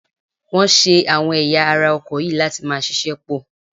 Wọ́n ṣe àwọn ẹ̀yà ara ọkọ̀ yìí láti máa ṣiṣẹ́ pọ̀ ni